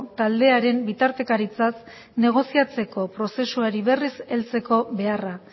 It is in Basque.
taldearen bitartekaritzaz negoziatzeko prozesuari berriz heltzeko beharra